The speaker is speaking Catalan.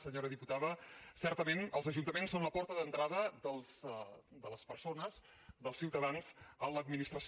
senyora diputada certament els ajuntaments són la porta d’entrada de les persones dels ciutadans a l’administració